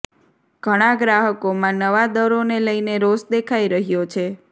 ઘણા ગ્રાહકોમાં નવા દરોને લઈને રોષ દેખાઈ રહ્યો છે